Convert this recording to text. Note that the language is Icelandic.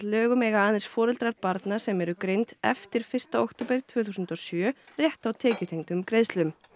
lögum eiga aðeins foreldrar barna sem eru greind eftir fyrsta október tvö þúsund og sjö rétt á tekjutengdum greiðslum